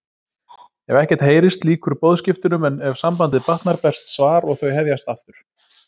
Ef ekkert heyrist lýkur boðskiptunum en ef sambandið batnar berst svar og þau hefjast aftur.